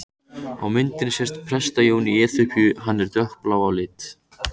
Á myndinni sést Presta-Jón í Eþíópíu, hann er dökkblár á lit.